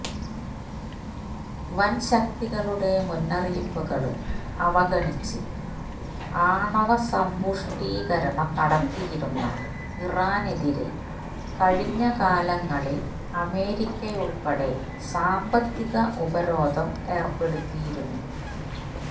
വന് ശക്തികളുടെ മുന്നറിയിപ്പുകള് അവഗണിച്ച് ആണവ സമ്പുഷ്ടീകരണം നടത്തിയിരുന്ന ഇറാനെതിരെ കഴിഞ്ഞ കാലങ്ങളില് അമേരിക്കയുള്പെടെ സാമ്പത്തിക ഉപരോധം ഏര്പെടുത്തിയിരുന്നു